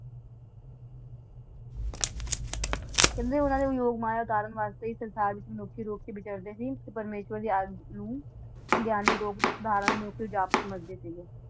ਕਹਿੰਦੇ ਉੰਨਾ ਨੇ ਯੋਗ ਮਾਯਾ ਸੁਧਾਰਾਂ ਵਾਸਤੇ ਹੀ ਸੰਸਾਰ ਚ ਅਨੋਖੇ-ਅਨੋਖੇ ਕਰਦੇ ਸੀ, ਤੇ ਪਰਮੇਸ਼੍ਵਰ ਦੇ ਨੂੰ ਸੰਗ੍ਯਾਨੀ ਯੋਗ ਸੁਧਾਰਨ ਨੂੰ ਜਾਪ ਸਮਜ ਦੇ ਸੀਗੇ।